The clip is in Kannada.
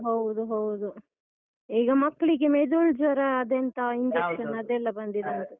ಹೌದು ಹೌದು. ಈಗ ಮಕ್ಕಳಿಗೆ ಮೆದುಳು ಜ್ವರ ಅದೆಂತ injection ಅದೆಲ್ಲ ಬಂದಿದೆ ಅಂತೆ.